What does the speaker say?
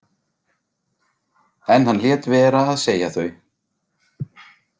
En hann lét vera að segja þau.